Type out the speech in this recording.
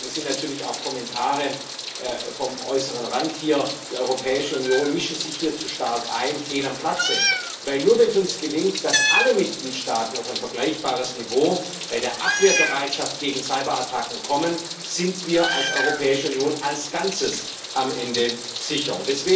Deswegen sind natürlich auch Kommentare vom äußeren Rand hier, die Europäische Union mische sich hier zu stark ein, hier fehl am Platze. Nur wenn es uns gelingt, dass alle Mitgliedstaaten auf ein vergleichbares Niveau bei der Abwehrbereitschaft gegen Cyberattacken kommen, sind wir als Europäische Union als Ganzes am Ende sicher.